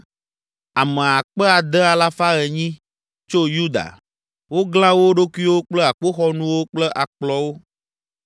Ame akpe ade alafa enyi (6,800) tso Yuda; woglã wo ɖokuiwo kple akpoxɔnuwo kple akplɔwo;